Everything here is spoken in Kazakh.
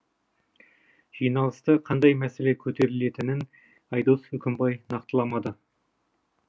жиналыста қандай мәселе көтерілетінін айдос үкімбай нақтыламады